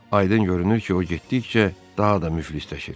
Aydın görünür ki, o getdikcə daha da müflisləşir.